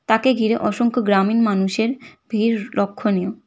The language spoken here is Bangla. তাকে ঘিরে অসংখ্য গ্রামীণ মানুষের ভিড় লক্ষণীয়।